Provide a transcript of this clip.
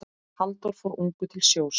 Halldór fór ungur til sjós.